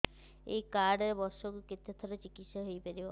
ଏଇ କାର୍ଡ ରେ ବର୍ଷକୁ କେତେ ଥର ଚିକିତ୍ସା ହେଇପାରିବ